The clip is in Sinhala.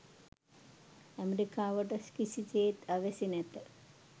ඇමෙරිකාවට කිසිසේත් අවැසි නැත